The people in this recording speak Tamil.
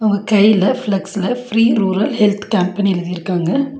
அவங்க கையில ஃபிக்ஸ்ல ஃப்ரீ ரூரல் ஹெல்த் கேம்ப்னு எழுதிருக்காங்க.